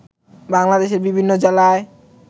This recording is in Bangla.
বাংলাদেশের বিভিন্ন জেলায়